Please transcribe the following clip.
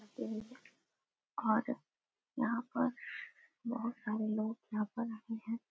और यहाँ पर बहोत सारे लोग यहाँ पर आए हैं।